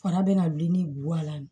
Fana bɛna wuli ni guwewa la